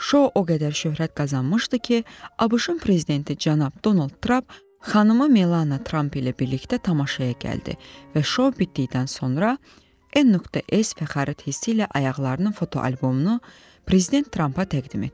Şou o qədər şöhrət qazanmışdı ki, ABŞ-ın prezidenti cənab Donald Trump xanımı Melania Trump ilə birlikdə tamaşaya gəldi və şou bitdikdən sonra n.s fəxarət hissi ilə ayaqlarının fotoalbomunu prezident Trumpa təqdim etdi.